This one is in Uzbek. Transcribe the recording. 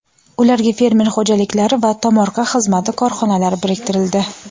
ularga fermer xo‘jaliklari va tomorqa xizmati korxonalari biriktirildi.